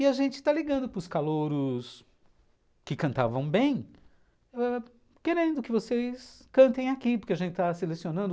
E a gente está ligando para os calouros que cantavam bem ãh, querendo que vocês cantem aqui, porque a gente está selecionando.